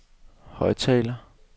højttaler